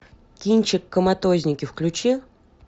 кинчик коматозники включи